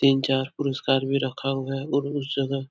तीन चार पुरस्कार भी रखा हुआ है और उस जगह--